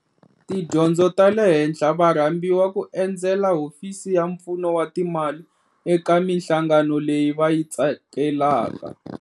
Tidyondzo ta le henhla va rhambiwa ku endzela Hofisi ya Pfuno wa Timali eka mihlangano leyi va yi tsakelaka.